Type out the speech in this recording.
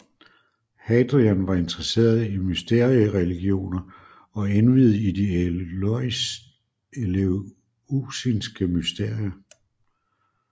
Hadrian var interesseret i mysteriereligioner og indviet i de eleusinske mysterier